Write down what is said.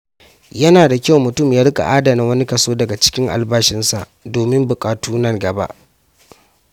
Yana da kyau mutum ya rika adana wani kaso daga albashinsa domin buƙatu nan gaba.